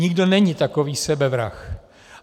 Nikdo není takový sebevrah.